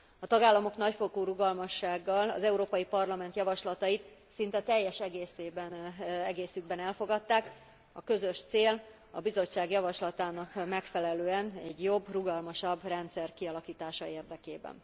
A tagállamok nagyfokú rugalmassággal, az Európai Parlament javaslatait szinte teljes egészükben elfogadták a közös cél, a Bizottság javaslatának megfelelően egy jobb, rugalmasabb rendszer kialakítása érdekében.